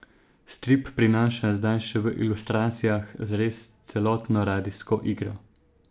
Strip prinaša zdaj še v ilustracijah zares celotno radijsko igro.